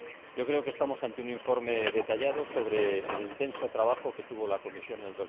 Yo creo que estamos ante un informe detallado sobre el intenso trabajo que tuvo la Comisión en